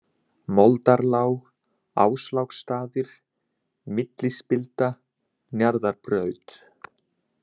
Moldarlág, Ásláksstaðir, Millispilda, Njarðarbraut